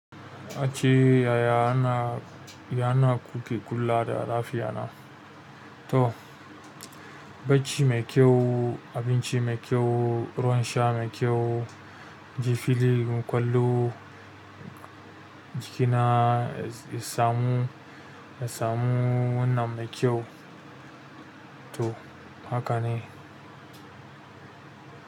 Ace yaya ana, yana kuke kula da lafiya na? To, bacci mai kyau, abinci mai kyau, rouwansa mai kyau, jifili, ƙwallo, jikina, samu, nasamu wannan mai kyau. To, haka ne.